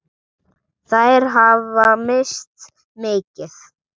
Þær hafa misst mikið.